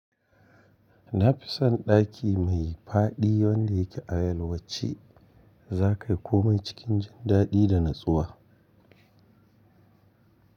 Na fi son ɗaki mai faɗi wanda yake a yalwace. Za ka yi komai cikin jin daɗi da natsuwa.